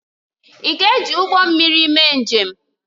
Ị ga-eji ụgbọ mmiri mee njem?